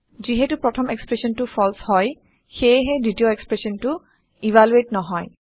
যিহেটো প্ৰথম এক্সপ্ৰেচনটো ফালছে হয় সেয়েহে দ্বিতীয় এক্সপ্ৰেচনটো ইভালুৱেট নহয়